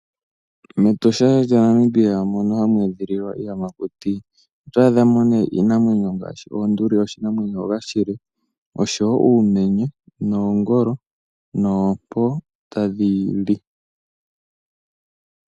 MEtosha lya Namibia mono hamu edhililwa iiyamakuti oto adho me nee iinamwenyo ngaashi oonduli, oshinanwenyo shoka oshile, oshowo uumenye noongolo, noompo tadhi li.